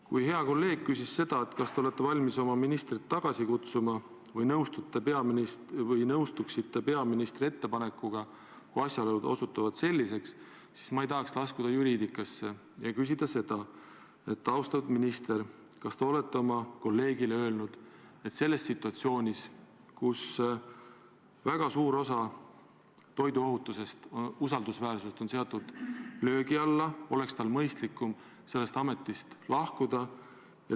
Kui hea kolleeg küsis, kas te olete valmis oma ministri tagasi kutsuma või nõustuksite peaministri ettepanekuga, kui asjaolud osutuvad selliseks, siis ma ei tahaks laskuda juriidikasse ja küsin seda: austatud minister, kas te olete oma kolleegile öelnud, et selles situatsioonis, kus väga suur osa toiduohutuse usaldusväärsusest on seatud löögi alla, oleks tal mõistlikum sellest ametist lahkuda?